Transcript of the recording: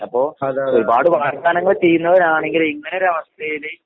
അപ്പോ ഒരുപാട് വാഗ്ദാനങ്ങൾ ചെയ്യുന്നവനാണെങ്കിൽ ഇങ്ങനൊരവസ്ഥയില്